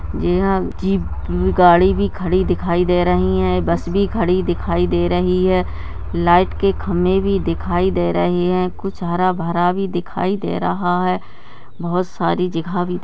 यहां जीप गाड़ी भी खड़ी दिखाई दे रही हैं बस भी खड़ी दिखाई दे रही है लाइट के खम्बे भी दिखाई दे रहे हैं कुछ हरा भरा-भी दिखाई दे रहा है बहुत सारी जगह भी --